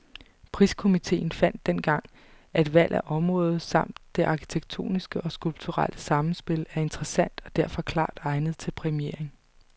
Priskomiteen fandt dengang, at valg af område, samt det arkitektoniske og skulpturelle samspil er interessant og derfor klart egnet til præmiering.